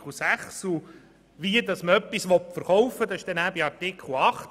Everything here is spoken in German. Wie man etwas von der Beteiligung verkaufen will, ist in Artikel 8 festgelegt.